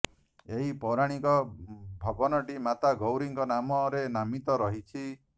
ଏହି ପୌରାଣିକ ଭବନଟି ମାତା ଗୌରାଙ୍କ ନାମରେ ନାମିତ ରହିଛି